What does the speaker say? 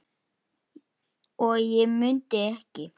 og ég mundi ekki.